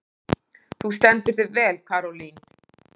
Þú stendur þig vel, Karólín!